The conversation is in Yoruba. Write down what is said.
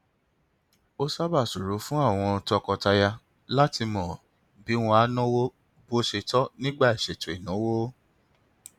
ó sábà ṣòro fún àwọn tọkọtaya láti mọ bí wọn á náwó bó ṣe tọ nígbà ìṣètò ìnáwó